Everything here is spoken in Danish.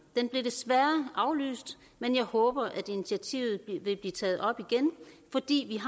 den blev desværre aflyst men jeg håber at initiativet vil blive taget op igen fordi